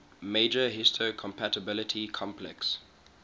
major histocompatibility complex